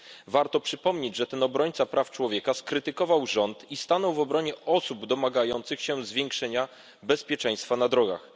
Warto przypomnieć, że ten obrońca praw człowieka skrytykował rząd i stanął w obronie osób domagających się zwiększenia bezpieczeństwa na drogach.